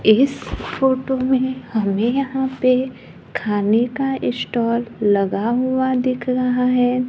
इस फोटो में हमे यहां पे खाने का स्टाल लगा हुआ दिख रहा है।